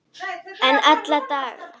En alla vega.